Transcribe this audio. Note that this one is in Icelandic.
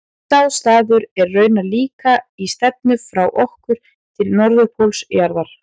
Sá staður er raunar líka í stefnu frá okkur til norðurpóls jarðar.